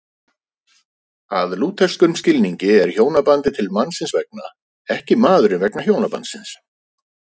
Að lútherskum skilningi er hjónabandið til mannsins vegna, ekki maðurinn vegna hjónabandsins.